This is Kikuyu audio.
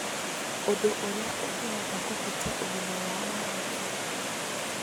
Ũndũ ũrĩa ũngĩhota kũhutia ũgima wao wa hakiri.